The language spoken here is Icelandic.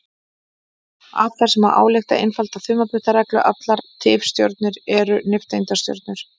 Af þessu má álykta einfalda þumalputtareglu: Allar tifstjörnur eru nifteindastjörnur.